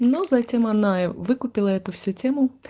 но затем она выкупила эту всю тему